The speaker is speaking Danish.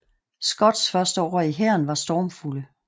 Scotts første år i hæren var stormfulde